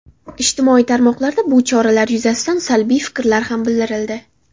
Ijtimoiy tarmoqlarda bu choralar yuzasidan salbiy fikrlar ham bildirildi.